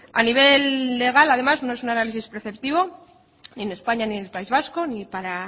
a nivel legal además no es un análisis preceptivo ni en españa ni en el país vasco ni para